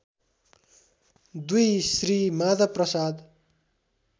२ Shri Madhav Prasad